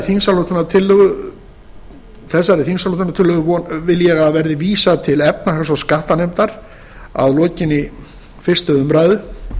efnahagsfárinu þessari þingsályktunartillögu vil ég að verði vísað til efnahags og skattanefndar að lokinni fyrstu umræðu